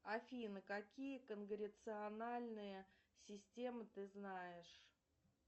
афина какие конгрециональные системы ты знаешь